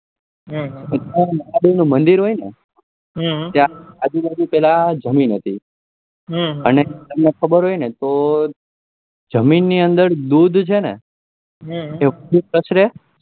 મહાદેવ નું મંદિર હોય ને ત્યાં આજુ બાજુ જમીન હતી તમને ખબર હોય ન તો જમીન ના અંદર દૂધ છે ને દૂધ પસરે